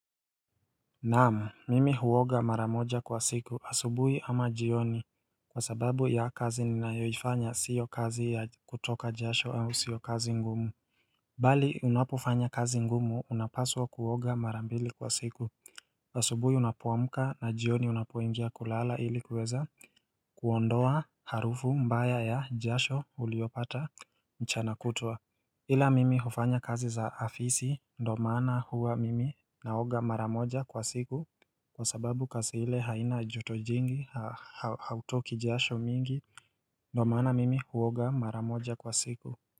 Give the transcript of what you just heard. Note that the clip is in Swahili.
Naam mimi huoga mara moja kwa siku asubuhi ama jioni kwa sababu ya kazi ninayoifanya sio kazi ya kutoka jasho au sio kazi ngumu Bali unapofanya kazi ngumu unapaswa kuoga mara mbili kwa siku asubuhi unapoamka na jioni unapoingia kulala ili kuweza kuondoa harufu mbaya ya jasho uliyopata mchana kutwa ila mimi hufanya kazi za afisi ndomaana huwa mimi naoga mara moja kwa siku Kwa sababu kaza ile haina joto jingi hautoki jasho mingi NDo maana mimi huoga mara moja kwa siku.